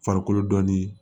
Farikolo dɔnni